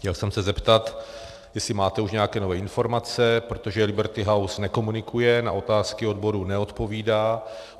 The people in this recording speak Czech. Chtěl jsem se zeptat, jestli máte už nějaké nové informace, protože Liberty House nekomunikuje, na otázky odborů neodpovídá.